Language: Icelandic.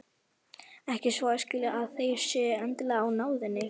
Ekki svo að skilja að þeir séu endilega í náðinni.